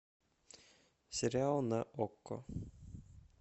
сериал на окко